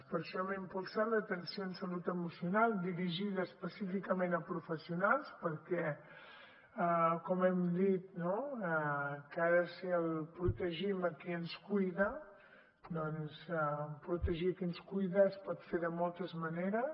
per això hem impulsat l’atenció en salut emocional dirigida específicament a professionals perquè com hem dit no que ha de ser el protegim a qui ens cuida doncs protegir a qui ens cuida es pot fer de moltes maneres